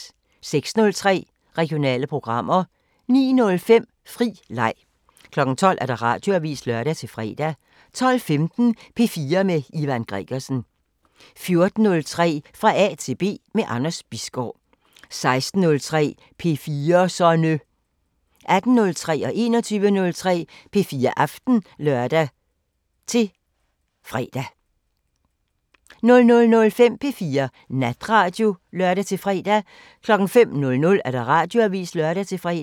06:03: Regionale programmer 09:05: Fri leg 12:00: Radioavisen (lør-fre) 12:15: P4 med Ivan Gregersen 14:03: Fra A til B – med Anders Bisgaard 16:03: P4'serne 18:03: P4 Aften (lør-søn) 21:03: P4 Aften (lør-fre) 00:05: P4 Natradio (lør-fre) 05:00: Radioavisen (lør-fre)